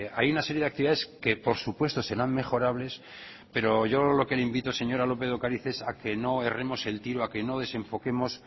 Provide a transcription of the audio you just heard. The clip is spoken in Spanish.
hay una serie de actividades que por supuesto serán mejorables pero yo lo que le invito señora lópez de ocariz es a que no erremos el tiro a que no desenfoquemos